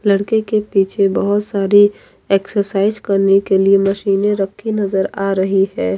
लड़के के पिछे बहोत सारी एक्सरसाइज करने के लिए मशीने रखी नजर आ रही है।